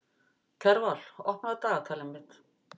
Kjarval, opnaðu dagatalið mitt.